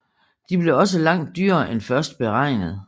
De blev også langt dyrere end først beregnet